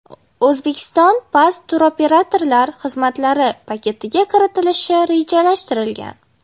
Uzbekistan Pass turoperatorlar xizmatlari paketiga kiritilishi rejalashtirilgan.